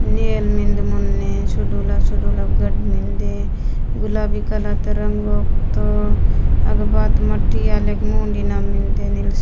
नेल मेंद मुंडे सुदुला - सुदूला गठ मिन्दे गुलाबी कलर तरंगों तो अग बात मटिया लेक मु डी या मिन्दे।